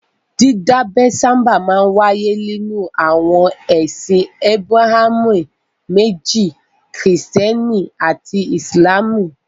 Dídábẹ sábà máa ń wáyé nínú àwọn ẹsìn Ábúráhámù méjì; Kìrìtẹ́ẹ́nì àti Ìsìlámù.